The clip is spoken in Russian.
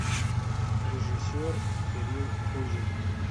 режиссер кирилл кузин